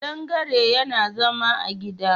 Ƙadangare yana zama a gida.